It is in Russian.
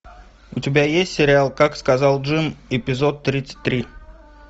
у тебя есть сериал как сказал джим эпизод тридцать три